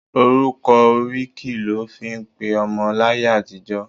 Orúkọ oríkì lọ fí ń pe ọmọ láyé àtijó.